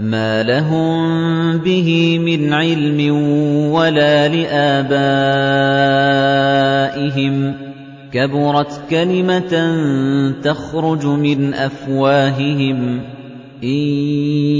مَّا لَهُم بِهِ مِنْ عِلْمٍ وَلَا لِآبَائِهِمْ ۚ كَبُرَتْ كَلِمَةً تَخْرُجُ مِنْ أَفْوَاهِهِمْ ۚ إِن